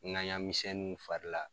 Ŋaɲa misɛnnuw farila